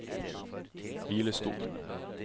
hvilestol